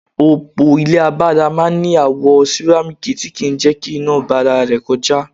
Òpó ilé agbára máa ń ní àwo sìrámíkì tí kì ń jẹ́ kí iná gba ara rẹ̀ kọjá.